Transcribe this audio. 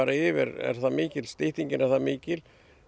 yfir er það mikill styttingin er það mikil